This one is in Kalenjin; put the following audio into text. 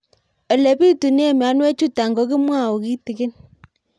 Ole pitune mionwek chutok ko kimwau kitig'ín